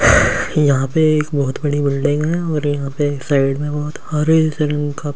यहाँ पे एक बहुत बड़ी बिल्डिंग है और यहाँ पे एक साइड एक बहुत हरे रंग का पेड़ लगा हुआ है।